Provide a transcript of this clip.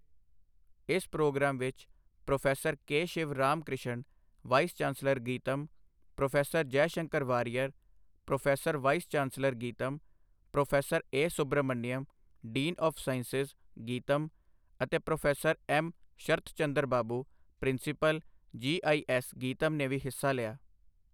ਇਸ ਪ੍ਰੋਗਰਾਮ ਵਿੱਚ prof. K. Shiv Ram Krishna, vice chancellor, GITAM, prof Jaishankar Variyar, pro vice chancellor, GITAM, prof A. Subrahmanyam, dean of sciences, GITAM ਅਤੇ professor M. Sharatchandra Babu, principal, GIS, GITAM ਨੇ ਵੀ ਹਿੱਸਾ ਲਿਆ।